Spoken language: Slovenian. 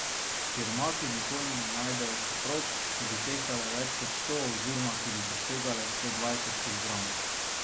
Siromaki nikoli ne najdejo soprog, ki bi tehtale več kot sto oziroma ki bi presegale sto dvajset kilogramov.